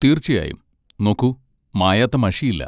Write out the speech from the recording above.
തീർച്ചയായും. നോക്കൂ, മായാത്ത മഷിയില്ല.